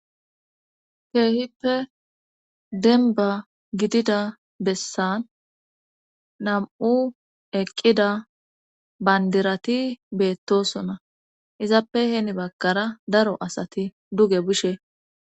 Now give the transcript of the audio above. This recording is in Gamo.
keehippe demba gidida bessan nam'u eqqida bandirati beettosona izappe heeni baggara daro asati duge bishe